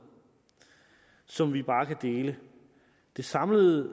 som vi bare kan dele den samlede